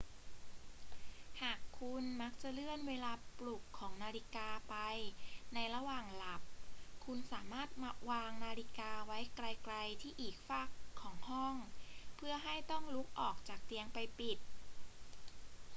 หากคุณมักจะเลื่อนเวลาปลุกของนาฬิกาไปในระหว่างหลับ คุณสามารถวางนาฬิกาไว้ไกล ๆ ที่อีกฟากของห้อง เพื่อให้ต้องลุกออกจากเตียงไปปิด